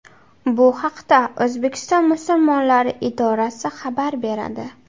Bu haqda O‘zbekiston musulmonlari idorasi xabar beradi .